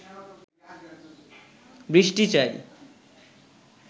বৃষ্টি চাই